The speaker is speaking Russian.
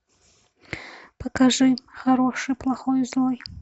покажи хороший плохой злой